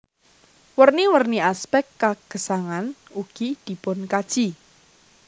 Werni werni aspek kagesangan ugi dipunkaji